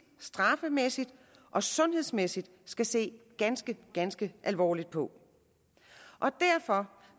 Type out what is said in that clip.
straffemæssigt og sundhedsmæssigt skal se ganske ganske alvorligt på derfor